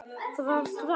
Það var grátt.